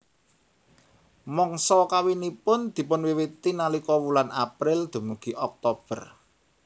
Mangsa kawinipun dipunwiwiti nalika wulan April dumugi Oktober